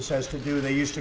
íslensk